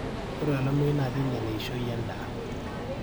ore olameyu naa keinyial eishoi endaa